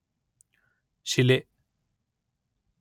ಶಿಲೆ